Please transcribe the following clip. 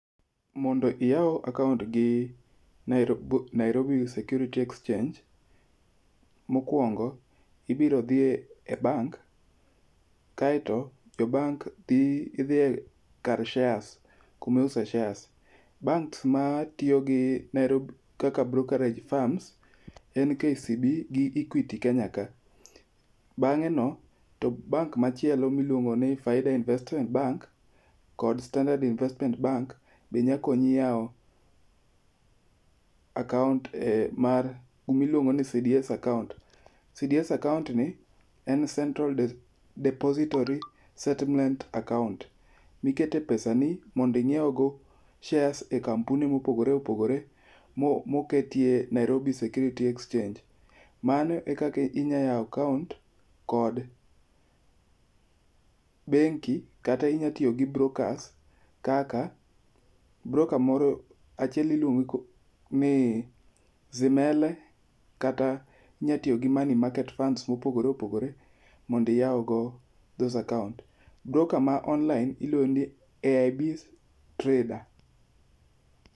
Mondo iyaw akaont gi Nairob Nairobi Security Exchange, mokwongo ibiro dhi e bank. Kaeto e bank idhiye kar shares kumiuse shares. Banks ma tiyo gi Nairobi kaka brokerage firms en KCB gi Equity Kenya ka. Bang'e no to bank machielo miluongo ni Faida Investment Bank, kod Standard Investment Bank be nya konyi yawo akaont e mar gimiluongo ni CDS akaont. CDS account ni en Central Depository Settlement account, mikete pesa ni mondinyiew go shares e kampuni mopogore opogore moketie Nairobi Securities Exchange. Mano e kaka inya yawo akaont kod bengi kata inya tiyo gi brokers, kaka broka moro achiel iluongo ni Zimele kata inya tiyo gi money market funds mopogore opogore. Mondi yaw go those account, broka ma online iluongo ni AIB Trader.